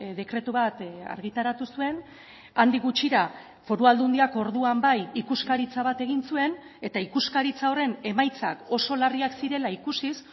dekretu bat argitaratu zuen handik gutxira foru aldundiak orduan bai ikuskaritza bat egin zuen eta ikuskaritza horren emaitzak oso larriak zirela ikusiz